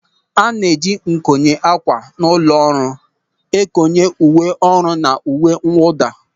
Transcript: A na-eji ịhe nkonye ákwà nọ n'ụlọ ọrụ ekonye uwe ọrụ na uwe mwụda.